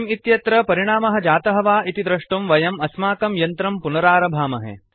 SCIM इत्यत्र परिणामः जातः वा इति दृष्टुं वयम् अस्माकं यन्त्रं पुनरारभामहे